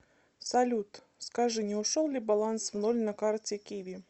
салют скажи не ушел ли баланс в ноль на карте киви